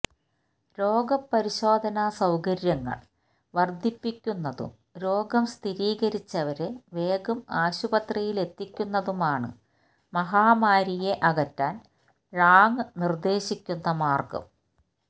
രോഗ പരിശോധനാ സൌകര്യങ്ങൾ വർധിപ്പിക്കുന്നതും രോഗം സ്ഥിരീകരിച്ചവരെ വേഗം ആശുപത്രിയിലെത്തിക്കുന്നതുമാണ് മഹാമാരിയെ അകറ്റാൻ ഴാങ് നിർദ്ദേശിക്കുന്ന മാർഗം